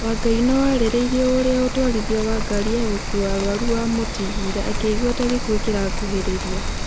Wangai no ararĩrĩirie ũria ũtwarithia wa ngari ya gũkua arwaru wamũtigire akĩigua ta gĩkuũ kĩrakuhĩrĩria